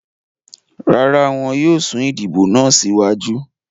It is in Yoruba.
Rara, wọn yóò sun idibo naa siwaju